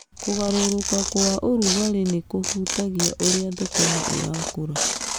Kũgarũrũka kwa ũrugarĩ nĩ kũhutagia ũrĩa thũkũma ĩrakũra.